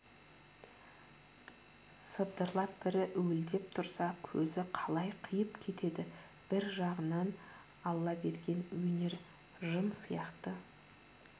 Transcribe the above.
сыбдырлап бірі уілдеп тұрса көзі қалай қиып кетеді бір жағынан алла берген өнер жын сияқты